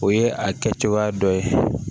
O ye a kɛ cogoya dɔ ye